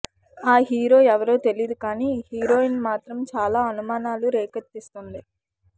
ఆ హీరో ఎవరో తెలియదు కాని హీరోయిన్ మాత్రం చాలా అనుమానాలు రేకెత్తిస్తున్నాయి